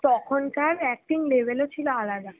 তখন কার acting level ও ছিল আলাদা